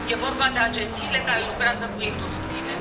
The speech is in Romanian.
E vorba de agențiile care lucrează cu industriile.